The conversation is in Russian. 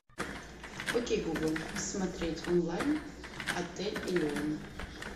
окей гугл смотреть онлайн отель элеон